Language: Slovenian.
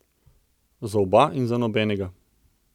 Za oba in za nobenega.